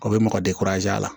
A bɛ mɔgɔ a la